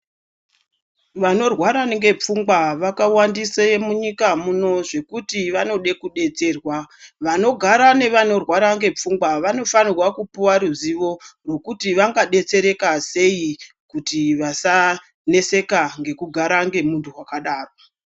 Vanorwara ngepfungwa vakawandise munyika muno zvekuti vanode kudetserwa. Vanogara nevanorwara ngepfungwa vanofanirwa kupuwa ruzivo rwekuti vangadetsereka sei kuti vasaneseka ngekugara ngemuntu wakadaro.